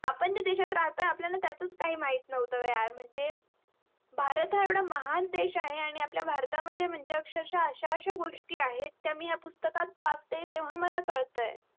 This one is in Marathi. आपण ज्या देशात राहतोय आपल्याला त्याचाच काही माहीत नहवत यार म्हणजे भारत हा एवढा महान देश आहे आणि आपल्या भारत मध्ये म्हणजे अक्षरक्षा अश्या अश्या गोष्टी आहेत त्या मी ह्या पुस्तकत वाचते तेव्हास मला कडताय